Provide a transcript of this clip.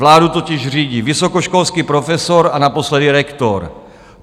Vládu totiž řídí vysokoškolský profesor a naposledy rektor.